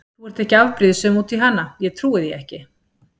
Þú ert ekki afbrýðisöm út í hana, ég trúi því ekki!